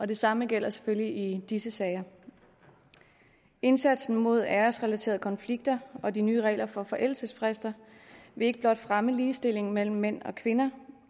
det samme gælder selvfølgelig i disse sager indsatsen mod æresrelaterede konflikter og de nye regler for forældelsesfrister vil ikke blot fremme ligestillingen mellem mænd og kvinder